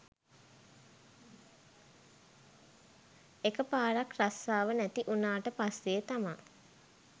එක පාරක් රස්සාව නැති උනාට පස්සේ තමා